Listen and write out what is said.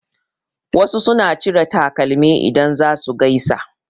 Wasu suna cire takalmi idan za su gaisa.